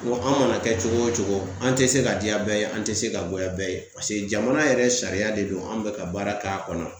N ko an mana kɛ cogo o cogo, an tɛ se ka diya bɛɛ ye, an tɛ se ka goya bɛɛ ye paseke jamana yɛrɛ sariya de don, an bɛ ka baara k'a kɔnɔ .